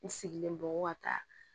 N sigilen don ko ka taa